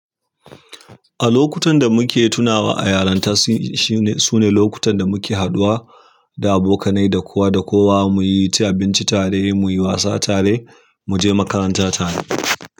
A lokutan da muke tunawa a yaranta, s. Shi. Sune lokutan da muke haɗuwa da abokanai da kowa da kowa, muyi ci abinci tare, muyi wasa tare, muje makaranta tare.